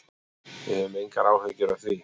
Við höfum engar áhyggjur af því.